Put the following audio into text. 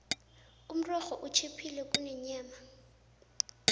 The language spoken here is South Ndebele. umrorho utjhiphile kunenyama